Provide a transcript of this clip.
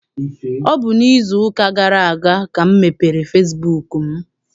Ọ bụ n'izu ụka gara aga ka m mepere fesibuuku m.